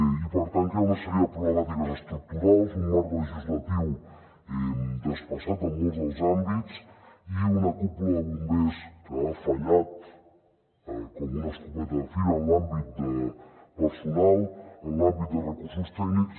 i per tant que hi ha una sèrie de problemàtiques estructurals un marc legislatiu desfasat en molts dels àmbits i una cúpula de bombers que ha fallat com una escopeta de fira en l’àmbit de personal en l’àmbit de recursos tècnics